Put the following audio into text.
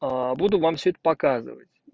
буду вам всё это показывать